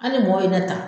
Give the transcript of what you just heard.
An ni mɔgɔ ye ne ta